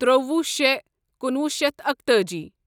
ترٛوُہ شے کنُوہُ شیتھ اکتأجی